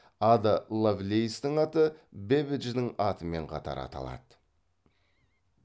ада лавлейстің аты бэббидждің атымен қатар аталады